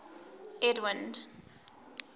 edwind